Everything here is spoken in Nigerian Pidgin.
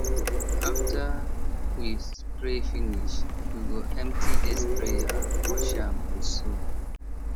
after we spray finish we go empty the sprayer wash am with soap